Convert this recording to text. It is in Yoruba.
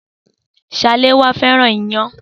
Saléwá fẹ́ràn iyán.